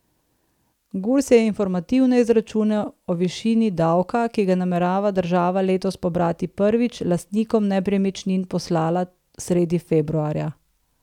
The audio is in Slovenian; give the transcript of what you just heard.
Gurs je informativne izračune o višini davka, ki ga namerava država letos pobrati prvič, lastnikom nepremičnin poslala sredi februarja.